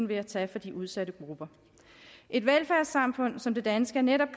ved at tage fra de udsatte grupper et velfærdssamfund som det danske er netop